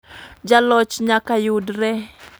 jaloch nyaka yudre.